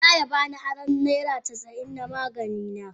Za ya ba ni aro naira casa'in na magani na.